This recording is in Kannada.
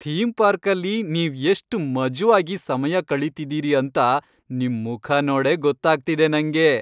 ಥೀಮ್ ಪಾರ್ಕಲ್ಲಿ ನೀವ್ ಎಷ್ಟ್ ಮಜ್ವಾಗಿ ಸಮಯ ಕಳೀತಿದೀರಿ ಅಂತ ನಿಮ್ ಮುಖ ನೋಡೇ ಗೊತ್ತಾಗ್ತಿದೆ ನಂಗೆ.